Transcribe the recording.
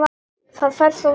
Það fer þér svo vel.